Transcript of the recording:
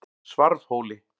Svarfhóli